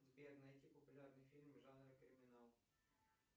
сбер найти популярный фильм в жанре криминал